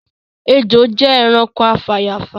Ejò jẹ ẹranko afàyàfà